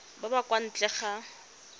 ba ba kwa ntle ga